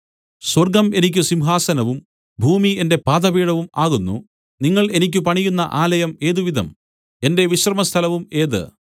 സ്വർഗ്ഗം എനിക്ക് സിംഹാസനവും ഭൂമി എന്റെ പാദപീഠവും ആകുന്നു നിങ്ങൾ എനിക്ക് പണിയുന്ന ആലയം ഏതുവിധം എന്റെ വിശ്രമസ്ഥലവും ഏത്